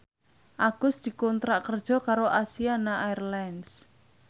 Agus dikontrak kerja karo Asiana Airlines